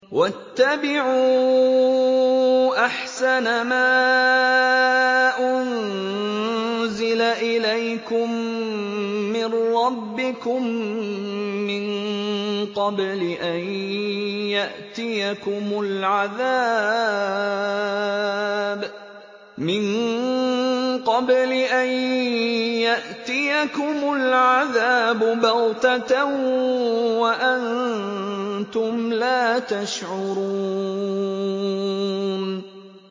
وَاتَّبِعُوا أَحْسَنَ مَا أُنزِلَ إِلَيْكُم مِّن رَّبِّكُم مِّن قَبْلِ أَن يَأْتِيَكُمُ الْعَذَابُ بَغْتَةً وَأَنتُمْ لَا تَشْعُرُونَ